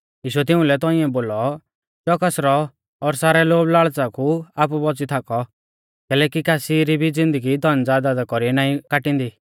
यीशुऐ तिउंलै तौंइऐ बोलौ च़ोकस रौ और सारै लोभ लाल़च़ा कु आपु बौच़ी थाकौ कैलैकि कासी री भी ज़िन्दगी धनज़यदादा कौरीऐ नाईं काटींदी